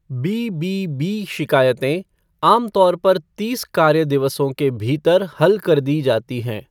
BBB शिकायतें आम तौर पर तीस कार्य दिवसों के भीतर हल कर दी जाती हैं।